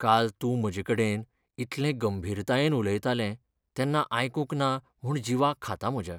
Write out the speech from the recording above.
काल तूं म्हजेकडेन इतलें गंभीरतायेन उलयतालें तेन्ना आयकूंक ना म्हूण जीवाक खाता म्हज्या.